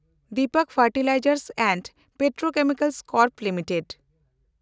Dipak fertilizers and petrochemicals corp limited